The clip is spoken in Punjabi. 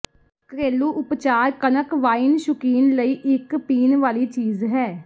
ਘਰੇਲੂ ਉਪਚਾਰ ਕਣਕ ਵਾਈਨ ਸ਼ੁਕੀਨ ਲਈ ਇੱਕ ਪੀਣ ਵਾਲੀ ਚੀਜ਼ ਹੈ